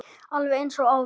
Alveg eins og áður.